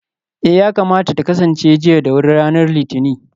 eh, yakamata ta kasance jiya da wuri ranar litinin